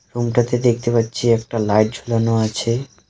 রুমটাতে দেখতে পাচ্ছি একটা লাইট ঝোলানো আছে .